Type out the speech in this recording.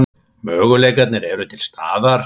Möguleikarnir eru til staðar.